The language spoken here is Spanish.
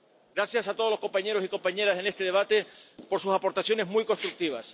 Gracias a todos los compañeros y compañeras en este debate por sus aportaciones muy constructivas.